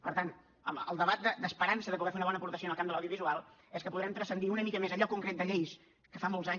per tant el debat d’esperança de poder fer una bona aportació en el camp de l’audiovisual és que podrem transcendir una mica més allò concret de lleis que fa molts anys